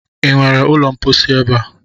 Ị nwere ụlọ mposi ebe a?